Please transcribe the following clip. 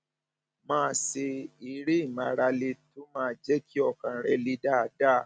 máa ṣe eré ìmárale tó máa jẹ kí ọkàn rẹ le dáadáa